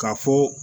Ka fɔ